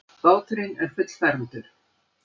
Báturinn er fullfermdur.